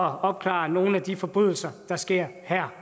at opklare nogle af de forbrydelser der sker her